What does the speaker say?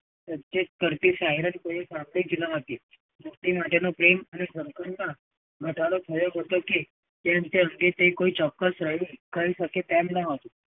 પરસ્તેજ કરતી સાઇરન . મુક્તિ માટેનું પ્રેમ અને સંકલ્પના ઘટાડો થયો હતો કે કોઈ ચોક્કસ કહી શકે તેમ ન હતું.